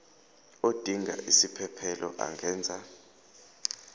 odinga isiphesphelo angenza